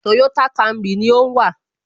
Toyota Camry ni ó ń wà